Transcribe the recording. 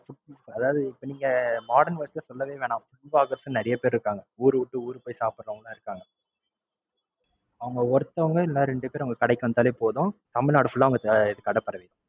அதாவது இப்ப நீங்க modern world ல நீங்க சொல்லவே வேண்டாம். நிறைய பேர் இருக்காங்க ஊருவிட்டு ஊரு போய் சாப்பிடுறவங்கலாம் இருக்காங்க. அவங்க ஒருத்தவங்க இல்ல ரெண்டு பேர் உங்க கடைக்கு வந்தாலே போதும். தமிழ்நாடு full ஆ உங்க கடை பரவிடும்.